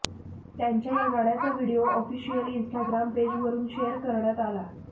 त्यांच्या या गाण्याचा व्हिडीओ ऑफिशिअल इन्स्टाग्राम पेजवरुन शेअर करण्यात आला